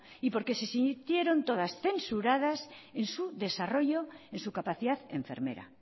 y porque se sintieron todas censuradas en su desarrollo en su capacidad enfermera